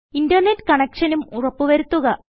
internet കണക്ഷനും ഉറപ്പ് വരുത്തുക